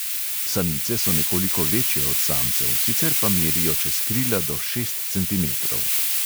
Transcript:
Samice so nekoliko večje od samcev, sicer pa merijo čez krila do šest centimetrov.